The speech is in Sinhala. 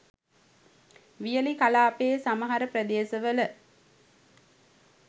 වියලි කලාපයේ සමහර ප්‍රදේශ වල